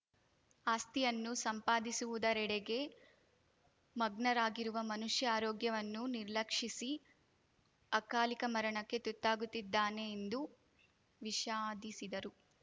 ಆಸ್ತಿಯನ್ನು ಸಂಪಾದಿಸುವುದರೆಡೆಗೆ ಮಗ್ನರಾಗಿರುವ ಮನುಷ್ಯ ಆರೋಗ್ಯವನ್ನು ನಿರ್ಲಕ್ಷಿಸಿ ಅಕಾಲಿಕ ಮರಣಕ್ಕೆ ತುತ್ತಾಗುತ್ತಿದ್ದಾನೆ ಎಂದು ವಿಷಾದಿಸಿದರು